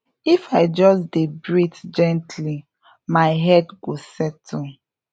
if i just dey breathe gently my head go settle